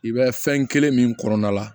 I bɛ fɛn kelen min kɔnɔna la